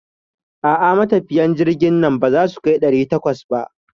A'a, matafiyan jirgin nan baza su kai ɗari takwas ba.